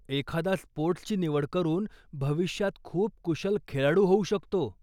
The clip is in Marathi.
एखादा स्पोर्टस् ची निवड करून भविष्यात खूप कुशल खेळाडू होऊ शकतो.